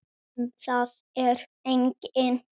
Um það er engin sátt.